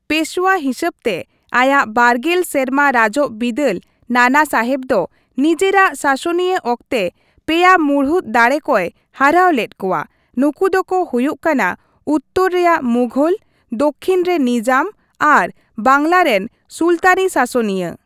ᱯᱮᱥᱳᱣᱟ ᱦᱤᱥᱟᱹᱵ ᱛᱮ ᱟᱭᱟᱜ ᱵᱟᱨᱜᱮᱞ ᱥᱮᱨᱢᱟ ᱨᱟᱡᱚᱜ ᱵᱤᱫᱟᱹᱞ ᱱᱟᱱᱟᱥᱟᱦᱮᱵ ᱫᱚ ᱱᱤᱡᱮᱨᱟᱜ ᱥᱟᱥᱚᱱᱤᱭᱟᱹ ᱚᱠᱛᱮ ᱯᱮᱭᱟ ᱢᱩᱲᱩᱫ ᱫᱟᱲᱮ ᱠᱚᱭ ᱦᱟᱨᱟᱣ ᱞᱮᱫ ᱠᱚᱣᱟ, ᱱᱩᱠᱩ ᱫᱚ ᱠᱚ ᱦᱩᱭᱩᱜ ᱠᱟᱱᱟ ᱩᱛᱛᱚᱨ ᱨᱮᱭᱟᱜ ᱢᱩᱜᱷᱚᱞ, ᱫᱚᱠᱠᱷᱤᱱ ᱨᱮ ᱱᱤᱡᱟᱢ ᱟᱨ ᱵᱟᱝᱞᱟ ᱨᱮᱱ ᱥᱩᱞᱛᱟᱹᱱᱤ ᱥᱟᱥᱚᱱᱤᱭᱟᱹ ᱾